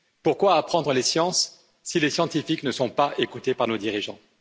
Pourquoi apprendre les sciences, si les scientifiques ne sont pas écoutés par nos dirigeants?